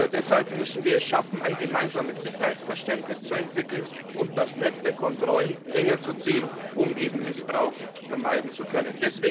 Deshalb müssen wir es schaffen, ein gemeinsames Sicherheitsverständnis zu entwickeln und das Netz der Kontrollen enger zu ziehen, um Missbrauch vermeiden zu können.